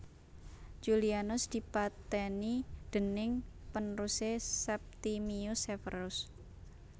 Julianus dipatèni déning panerusé Septimius Severus